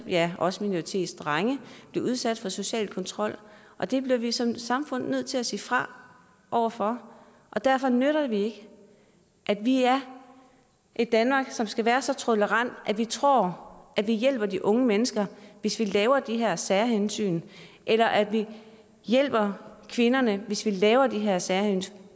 ja også minoritetsdrenge bliver udsat for social kontrol og det bliver vi som samfund nødt til at sige fra over for og derfor nytter det ikke at vi er et danmark som skal være så tolerant at vi tror at vi hjælper de unge mennesker hvis vi laver de her særhensyn eller at vi hjælper kvinderne hvis vi laver de her særhensyn